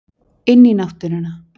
Inn í náttúruna.